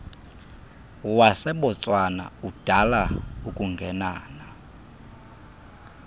wasebotswana udala ukungenana